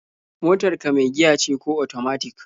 Motar ka mai giya ce ko otomatik?